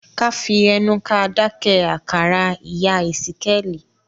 ká fí ẹnu ká dáké àkàrà ìyá ìsíkéèli.